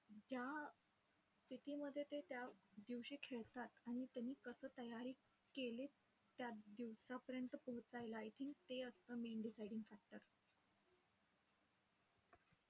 ज्या स्थितीमध्ये ते त्या दिवशी खेळतात आणि त्यांनी कसं तयारी केलीय, त्या दिवसापर्यंत पोहोचायला I think ते असतं main deciding factor.